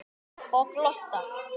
Og glotta.